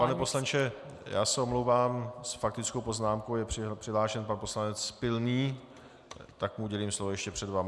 Pane poslanče, já se omlouvám, s faktickou poznámkou je přihlášen pan poslanec Pilný, tak mu udělím slovo ještě před vámi.